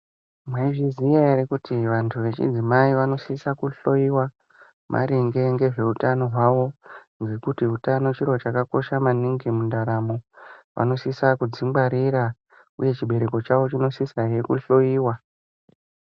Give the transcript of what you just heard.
Mwaiziva here kuti vantu vechidzimai vanosisa kuhloiwa maringe nezvehutano hwawo nekuti hutano chiro chakakosha maningi mundaramo vanosisa kuzvingwarira uye chibereko chawo chinosisahe kuhloiwa.